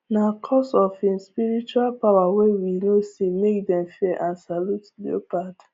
nah coz of hin spiritual power way we no see make dem fear and salute leopard